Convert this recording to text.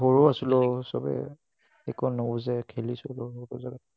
সৰু আছিলো চবেই, একো নুবুজাকে খেলিছিলো ।